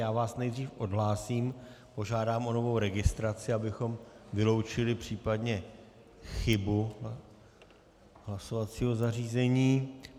Já vás nejdřív odhlásím, požádám o novou registraci, abychom vyloučili případně chybu hlasovacího zařízení.